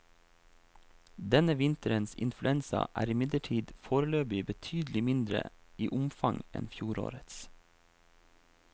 Denne vinterens influensa er imidlertid foreløpig betydelig mindre i omfang enn fjorårets.